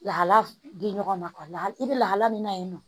Lahala di ɲɔgɔn ma i bɛ lahala min na yen nɔ